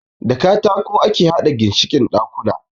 Da katako ake haɗa ginshikin ɗakuna.